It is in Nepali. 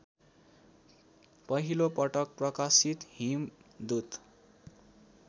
पहिलोपटक प्रकाशित हिमदूत